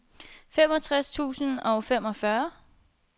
femogtres tusind og femogfyrre